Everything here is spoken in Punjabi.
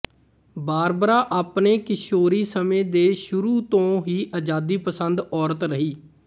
ਬਾਰਬਰਾ ਆਪਣੇ ਕਿਸ਼ੋਰੀ ਸਮੇਂ ਦੇ ਸ਼ੁਰੂ ਤੋਂ ਹੀ ਆਜ਼ਾਦੀ ਪਸੰਦ ਔਰਤ ਰਹੀ